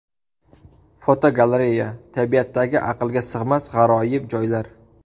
Fotogalereya: Tabiatdagi aqlga sig‘mas g‘aroyib joylar.